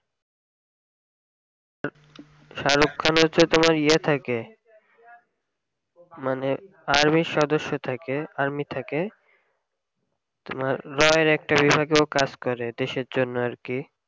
shahrukh khan হচ্ছে তোমার ইয়ে থাকে মানে army এর সদস্য থাকে army থাকে তোমার raw এর একটা বিভাগে হিসেবে কাজ করে দেশের জন্য আর কি